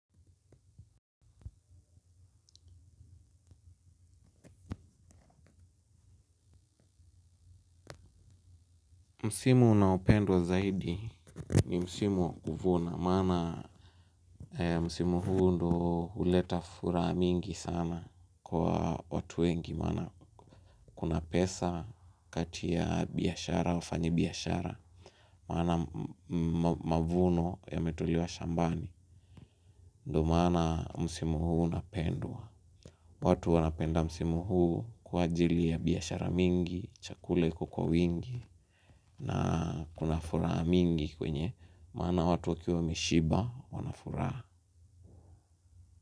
Msimu unaopendwa zaidi ni msimu wa kuvuna maana msimu huu ndo huleta furaha mingi sana kwa watu wengi maana kuna pesa kati ya biashara wafanyibiashara wana mavuno yametolewa shambani ndo maana msimu huu unapendwa watu wanapenda msimu huu kwa ajili ya biashara nyingi chakula iko kwa wingi na kuna furaha mingi kwenye maana watu wakiwa wameshiba wana furaha.